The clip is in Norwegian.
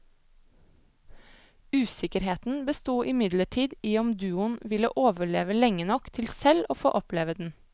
Usikkerheten besto imidlertid i om duoen ville overleve lenge nok til selv å få oppleve den.